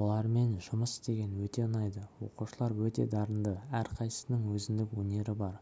олармен жұмыс істеген өте ұнайды оқушылар өте дарынды әрқайсысының өзіндік өнері бар